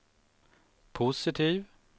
positiv